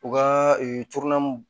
U ka